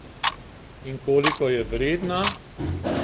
In koliko je vredna?